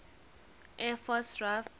air force raaf